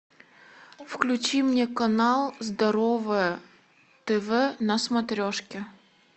включи мне канал здоровое тв на смотрешке